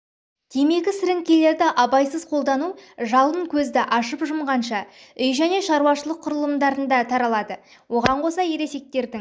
темекі сіріңкелерді абайсыз қолдану жалын көзді ашып жұмғанша үй және шаруашылық құрылымдарына таралады оған қоса ересектердің